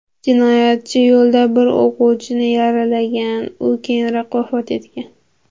Jinoyatchi yo‘lda bir o‘qituvchini yaralagan, u keyinroq vafot etgan.